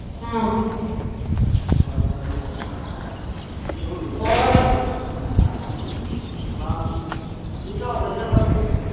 ਹਮ ਠੀਕਾ ਹੋਰ ਵਧੀਆਂ ਬਾਕੀ